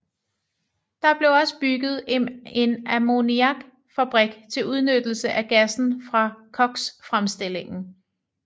Der blev også bygget en ammoniakfabrik til udnyttelse af gassen fra koksfremstillingen